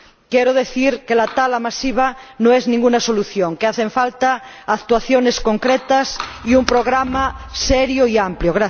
Quiero decir que la tala masiva no es ninguna solución, que hacen falta actuaciones concretas y un programa serio y amplio.